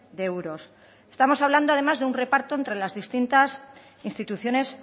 de euros estamos hablando además de un reparto entre las distintas instituciones